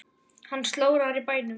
Hann slórar í bænum.